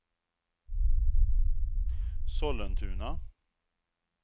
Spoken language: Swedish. Sollentuna